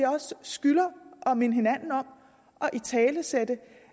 skylder at minde hinanden om at italesætte